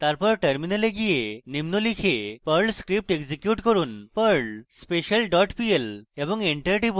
তারপর terminal গিয়ে নিম্ন লিখে perl script execute করুন perl special dot pl এবং enter টিপুন